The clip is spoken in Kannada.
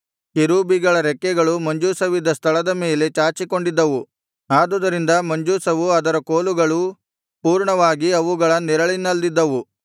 ಕೆರೂಬಿಗಳ ರೆಕ್ಕೆಗಳು ಮಂಜೂಷವಿದ್ದ ಸ್ಥಳದ ಮೇಲೆ ಚಾಚಿಕೊಂಡಿದ್ದವು ಆದುದರಿಂದ ಮಂಜೂಷವು ಅದರ ಕೋಲುಗಳೂ ಪೂರ್ಣವಾಗಿ ಅವುಗಳ ನೆರಳಿನಲ್ಲಿದ್ದವು